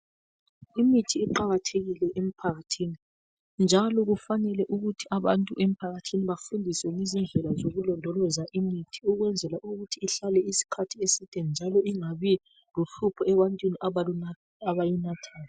Imithi iqakathekile emphakathini njalo kufanele ukuthi abantu emphakathini bafundiswe ngezindlela zokulondoloza imithi ukwenzela ukuthi ihlale isikhathi eside njalo ingabilohlupho ebantwini abayinathayo.